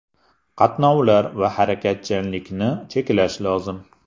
Qatnovlar va harakatchanlikni cheklash lozim.